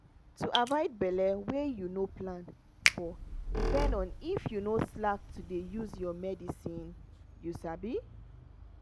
to avoid belle wey you no plan for depend on if you no slack to dey use your medicine. you sabi?